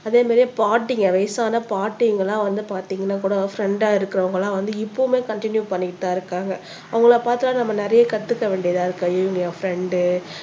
அதே மாதிரி பாட்டிங்க வயசான பாட்டிங்க எல்லாம் வந்து பார்த்தீங்கன்னா கூட ஃப்ரண்டா இருக்கிறவங்க எல்லாம் வந்து இப்பவுமே கண்டினியூ பண்ணிட்டு தான் இருக்காங்க அவங்கள பார்த்தா நம்ம நிறைய கத்துக்க வேண்டியதா இருக்கு அய்யய்யோ ஃப்ரண்டு